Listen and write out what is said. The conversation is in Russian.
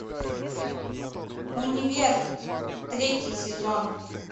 универ третий сезон